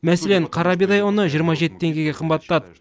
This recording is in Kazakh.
мәселен қара бидай ұны жиырма жеті теңгеге қымбаттады